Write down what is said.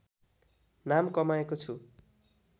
नाम कमाएको छु